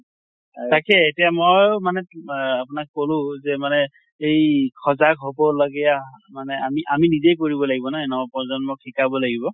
তাকে এতিয়া মই মানে তোম মানে আপোনাক কলো যে মানে এই সজাগ হʼব লগিয়া মানে আমি আমি নিজে কৰিব লাগিব নহয়? নৱ প্ৰজন্মক শিকাব লাগিব